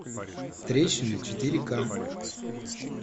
трещина четыре ка